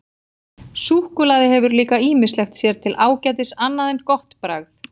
Súkkulaði hefur líka ýmislegt sér til ágætis annað en gott bragð.